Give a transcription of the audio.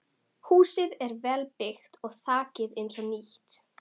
Húsið er vel byggt og þakið eins og nýtt.